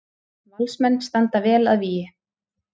Valsmenn standa vel að vígi